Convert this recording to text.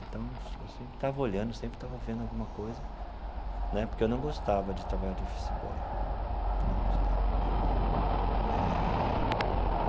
Então, eu sempre estava olhando, sempre estava vendo alguma coisa né, porque eu não gostava de trabalhar de office boy, não gostava eh.